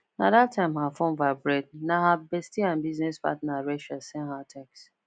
na that time her phone vibrate na her bestie and business partner rachel send her text